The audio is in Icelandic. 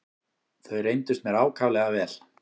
Þau reyndust mér ákaflega vel.